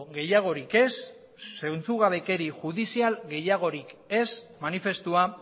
gehiagorik ez zentzugabekeri judizial gehiagorik ez manifestua